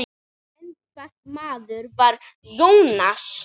En hvernig maður var Jónas?